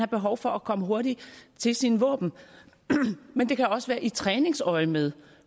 behov for at komme hurtigt til sine våben men det kan også være i træningsøjemed